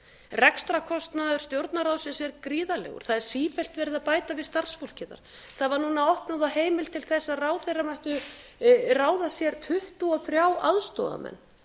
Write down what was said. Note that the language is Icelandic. rekstrarkostnaður stjórnarráðsins er gríðarlegur það er sífellt verið að bæta við starfsfólki þar það var núna opnað á heimil til þess að ráðherrar mættu ráða sér tuttugu og þrír aðstoðarmenn